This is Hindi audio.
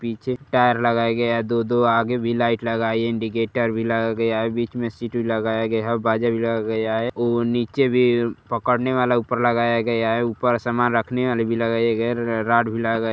पीछे टायर लगाया गया है दो-दो आगे भी लाइट लगा इंडिकेटर भी लगाया गया है बीच में सीट भी लगाया गया है और बाजा भी लगाया गया है और नीचे भी पकड़ने वाला ऊपर लगाया गया है ऊपर समान रखने वाला भी लगाया गया है रा रॉड भी लगा --